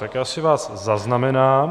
Tak já si vás zaznamenám.